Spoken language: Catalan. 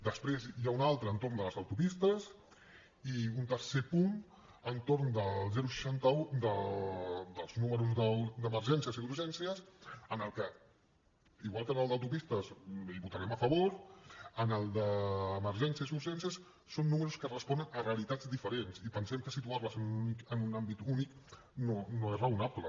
després n’hi ha una altra entorn de les autopistes i un tercer punt entorn del seixanta un dels números d’emergències i d’urgències en el que igual que en el d’autopistes votarem a favor en el d’emergències i urgències són números que responen a realitats diferents i pensem que situar les en un àmbit únic no és raonable